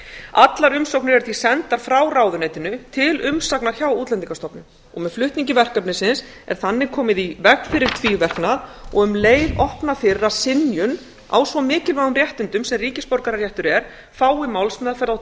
allar umsóknir eru því sendar frá ráðuneytinu til umsagnar hjá útlendingastofnun og með flutningi verkefnisins er þannig komið í veg fyrir tvíverknað og um leið opnað fyrir að synjun á svo mikilvægum réttindum sem ríkisborgararéttur er fái málsmeðferð á